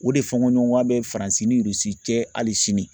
O de fɔɲɔgɔnkɔ bɛ Faransi ni Irisi cɛ hali sini